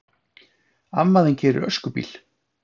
Amma þín keyrir öskubíl!